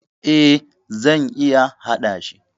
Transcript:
E, zan iya hadashi.